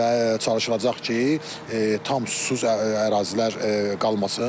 Və çalışılacaq ki, tam susuz ərazilər qalmasın.